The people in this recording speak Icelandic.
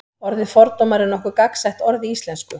orðið fordómar er nokkuð gagnsætt orð í íslensku